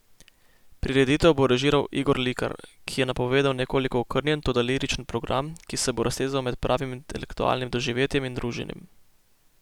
Prireditev bo režiral Igor Likar, ki je napovedal nekoliko okrnjen, toda liričen program, ki se bo raztezal med pravim intelektualnim doživetjem in druženjem.